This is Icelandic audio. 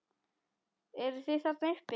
Eruð þið þarna uppi!